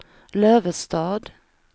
Lövestad